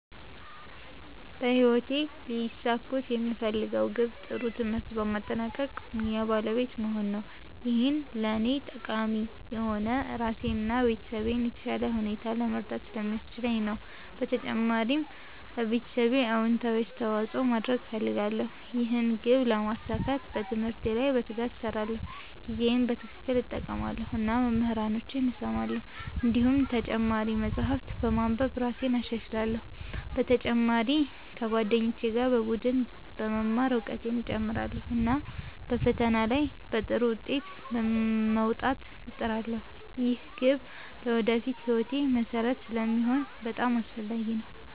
በህይወቴ ሊያሳኩት የምፈልገው ግብ ጥሩ ትምህርት በማጠናቀቅ ሙያ ባለቤት መሆን ነው። ይህ ለእኔ ጠቃሚ የሆነው ራሴን እና ቤተሰቤን በተሻለ ሁኔታ ለመርዳት ስለሚያስችለኝ ነው። በተጨማሪም ለማህበረሰቤ አዎንታዊ አስተዋፅኦ ማድረግ እፈልጋለሁ። ይህን ግብ ለማሳካት በትምህርቴ ላይ በትጋት እሰራለሁ፣ ጊዜዬን በትክክል እጠቀማለሁ እና መምህራኖቼን እሰማለሁ። እንዲሁም ተጨማሪ መጻሕፍት በማንበብ እራሴን እሻሻላለሁ። በተጨማሪ ከጓደኞቼ ጋር በቡድን በመማር እውቀቴን እጨምራለሁ፣ እና በፈተና ላይ በጥሩ ውጤት ለመውጣት እጥራለሁ። ይህ ግብ ለወደፊት ሕይወቴ መሠረት ስለሚሆን በጣም አስፈላጊ ነው።